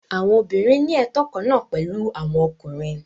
Àwọn obìnrin ní ẹtọ kan náà pẹ̀lú àwọn ọkùnrin.